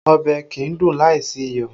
Ọbẹ̀ kìí dùn láìsí iyọ̀